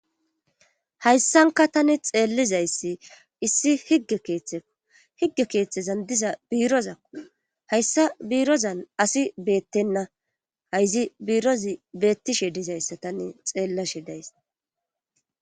Hayssanka tani xeellizayssi issi higge keeththeko higge keeththezan diza biirozakko hayssa biirozan asi beettenna hayzi biirozi beettishe dizayssa tane xeellashe days.